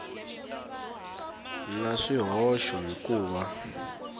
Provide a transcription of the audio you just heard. na swihoxo hi ku va